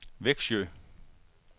Växjö